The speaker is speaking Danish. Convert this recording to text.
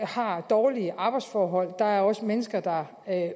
har dårlige arbejdsforhold der er også mennesker der